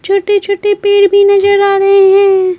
छोटे-छोटे पेड़ भी नजर आ रहे हैं।